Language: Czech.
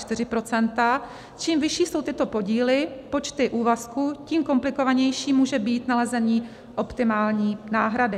Čím vyšší jsou tyto podíly, počty úvazků, tím komplikovanější může být nalezení optimální náhrady.